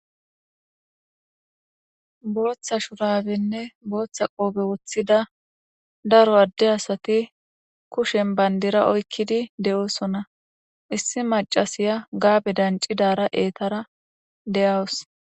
Botha shurabenne botha qobe wothida daro ade asati kushen bandira oykidi de'osona issi macasiya gabe dacidara etera de'awus